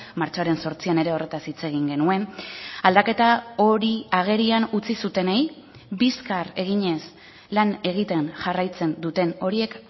martxoaren zortzian ere horretaz hitz egin genuen aldaketa hori agerian utzi zutenei bizkar eginez lan egiten jarraitzen duten horiek